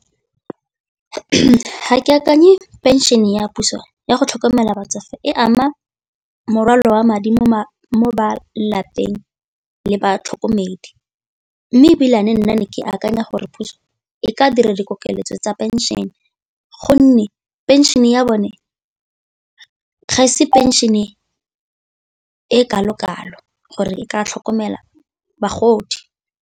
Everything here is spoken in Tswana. Ga ke akanye pension ya puso ya go tlhokomela batsofe e ama morwalo wa madi mo malapeng le batlhokomedi, mme nna ne ke akanya go gore puso e ka dira dikeletso tsa pension gonne pension e ya bone ga e se pension e e kalo-kalo gore e ka tlhokomela bagodi.